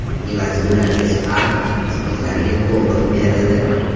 Evaziga ularga Spark, ustozlariga Cobalt berildi.